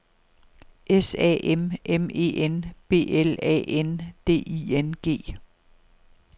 S A M M E N B L A N D I N G